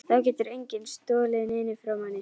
Þá getur enginn stolið neinu frá manni.